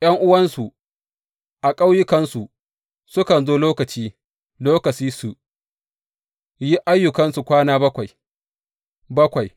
’Yan’uwansu a ƙauyukansu sukan zo lokaci, lokaci su yi ayyukansu kwana bakwai, bakwai.